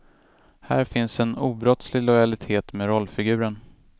Här finns en obrottslig lojalitet med rollfiguren.